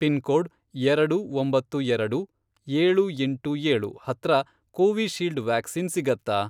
Pin code, ಎರಡು ಒಂಬತ್ತು ಎರಡು, ಏಳು ಎಂಟು ಏಳು, ಹತ್ರ ಕೋವಿಶೀಲ್ಡ್ ವ್ಯಾಕ್ಸಿನ್ ಸಿಗತ್ತಾ?